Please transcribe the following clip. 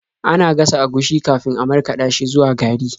Ana gasa agushi kafin a markaɗa shi zuwa gari.